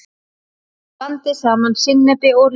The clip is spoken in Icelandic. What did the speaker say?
Blandið saman sinnepi og rjóma.